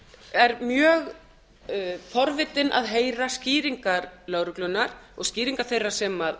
er mjög forvitin að heyra skýringar lögreglunnar og skýringar þeirra sem